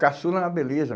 Caçula na beleza.